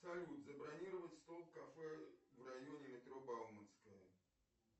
салют забронировать стол в кафе в районе метро бауманская